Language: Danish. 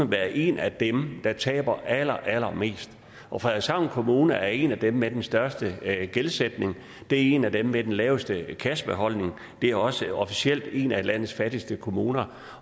være en af dem der taber allerallermest og frederikshavn kommune er en af dem med den største gældsætning det er en af dem med den laveste kassebeholdning og det er også officielt en af landets fattigste kommuner